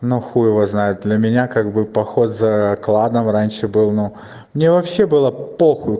на хуй его знает для меня как бы поход за кладом раньше был ну мне вообще было похуй